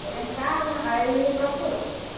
Foi lá em casa, aí me procurou.